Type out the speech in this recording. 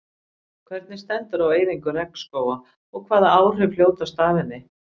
Hvernig stendur á eyðingu regnskóga og hvaða áhrif hljótast af henni?